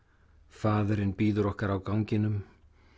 faðirinn bíður okkar á ganginum